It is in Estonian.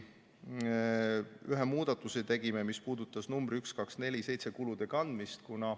Tegime ühe muudatuse, mis puudutas numbri 1247 kulude kandmist.